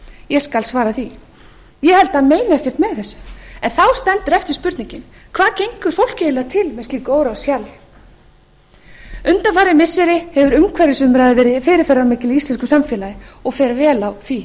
ég skal svara því ég held að hann meini ekkert með þessu en þá stendur eftir spurningin hvað gengur fólki eiginlega til með slíku óráðshjali undanfarin missiri hefur umhverfisumræða verið fyrirferðarmikil í íslensku samfélagi og fer vel á því